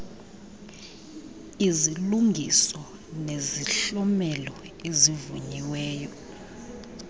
izilungiso nezihlomelo ezivunyiweyo